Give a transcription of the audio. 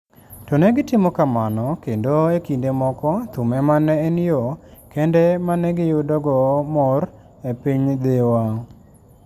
To ne gitimo kamano, kendo e kinde moko thum ema ne en yo kende ma ne giyudogo mor e piny Dhiwa.